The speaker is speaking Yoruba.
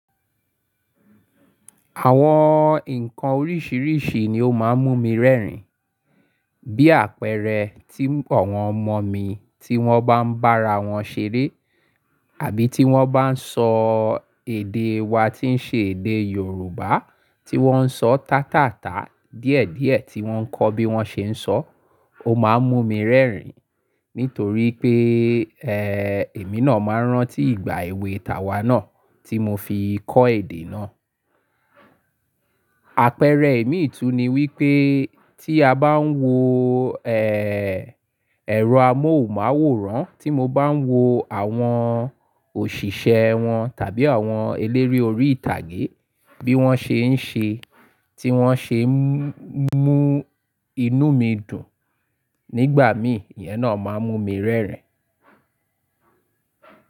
Àwọn nǹkan oríṣiríṣi ni ó máa ń mú mi rẹ́rìn. Bí àpẹẹrẹ, tí àwọn ọmọ mi tí wọ́n bá ń bára wọn ṣeré àbí tí wọ́n bá ń sọ èdè wa tí ń ṣe èdè Yorùbá tí wọ́n ń sọ tátàtà díẹ̀díẹ̀ tí wọ́n kọ́ bí wọ́n ṣe ń sọ, ó máa ń mú mi rẹ́rìn nítorí pé, ẹ́, èmi náà máa rán tí ìgbà èwe tàwà náà tí mo fi kọ́ èdè náà. Àpẹẹrẹ imì tú ni wípé tí a bá ń wo, ẹ́, ẹ̀rọ amóhùnmáwòrán, tí mo bá ń wo àwọn òṣìṣẹ́ wọn tàbí àwọn eléré orí ìtàgé bí wọ́n ṣe ń ṣe, tí wọ́n ṣe ń mú inú mi dùn nígbà mí, ìyẹn náà máa ń mú mi rẹ́rìn.